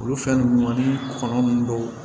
Olu fɛn nunnu ni kɔnɔ nunnu dɔw